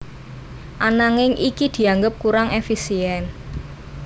Ananging iki dianggep kurang éfisién